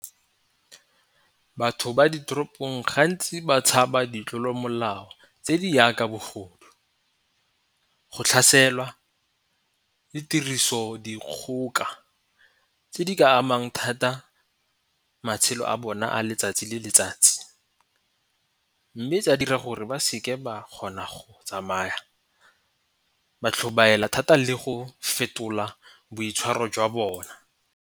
Batho ba ditoropong gantsi ba tshaba ditlolomolao tse di yaka bogodu, go tlhaselwa, le tirisodikgoka tse di ka amang thata matshelo a bone a letsatsi le letsatsi. Mme tsa dira gore ba seke ba kgona go tsamaya ba tlhobaela thata le go fetola boitshwaro jwa bona.